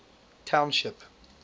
township